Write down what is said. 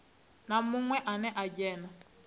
na munwe ane a dzhena